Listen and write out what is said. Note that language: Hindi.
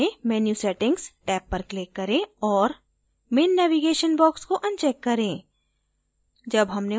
अंत में menu settings टैब पर click करें और main navigation box को अनचैक करें